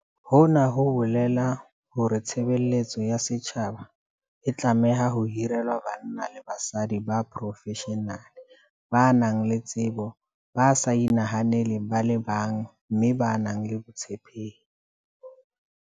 Hona ho bolela hore tshe beletso ya setjhaba e tlameha ho hirelwa banna le basadi ba profeshenale, ba nang le tsebo, ba sa inahaneleng ba le bang mme ba nang le botshepehi.